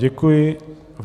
Děkuji vám.